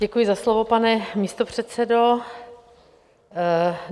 Děkuji za slovo, pane místopředsedo.